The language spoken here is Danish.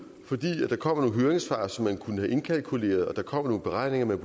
fordi der kommer nogle høringssvar som man kunne have indkalkuleret og der kommer nogle beregninger man